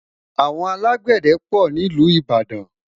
àwọn alágbède pò nílu ìbàdàn